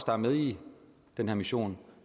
bare med i den her mission